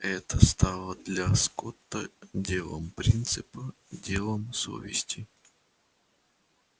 это стало для скотта делом принципа делом совести